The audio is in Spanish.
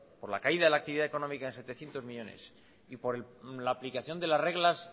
por la caída de la actividad económica en setecientos millónes y por la aplicación de las reglas